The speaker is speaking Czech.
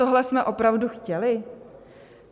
Tohle jsme opravdu chtěli?